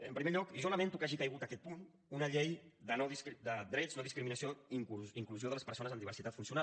en primer lloc jo lamento que hagi caigut aquest punt una llei de drets no discriminació inclusió de les persones amb diversitat funcional